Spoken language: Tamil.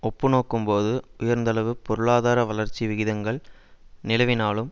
ஒப்பு நோக்கும் போது உயர்ந்தளவு பொருளாதார வளர்ச்சி விகிதங்கள் நிலவினாலும்